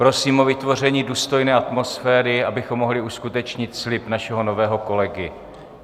Prosím o vytvoření důstojné atmosféry, abychom mohli uskutečnit slib našeho nového kolegy.